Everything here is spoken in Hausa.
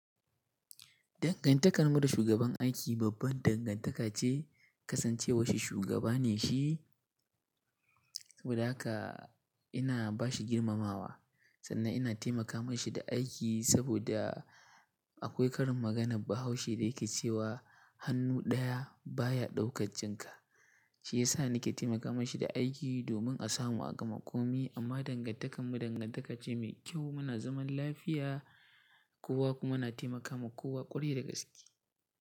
Dangantakar mu da shugaban aiki babban dangantaka ce. Kasancewa shi shugaba ne shi, saboda haka ina bashi girmamawa. Sannan ina taimaka mashi da aiki saboda akwai karin maganar Bahaushe da yake cewa “Hannu ɗaya baya ɗaukan cin ka”. Shi yasa nake taimaka mashi da aiki domin a samu a gma komi. Amma dangantakar mu dangantaka ce mai kyau. Muna zaman lafiya kowa kuma na taimakawa kowa ƙwarai da gaskiya.